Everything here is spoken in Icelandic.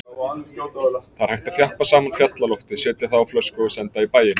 Það er hægt að þjappa saman fjallalofti, setja það á flösku og senda í bæinn.